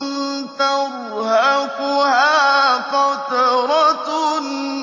تَرْهَقُهَا قَتَرَةٌ